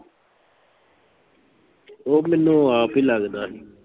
ਉਹ ਮੈਨੂੰ ਆਪ ਹੀ ਲੱਗਦਾ ਹੀ।